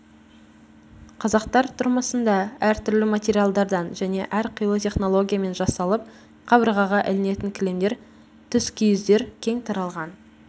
қазақтар тұрмысында әртүрлі материалдардан және әрқилы технологиямен жасалып қабырғаға ілінетін кілемдер түскиіздер кең тараған